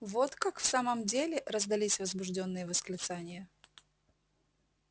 вот как в самом деле раздались возбуждённые восклицания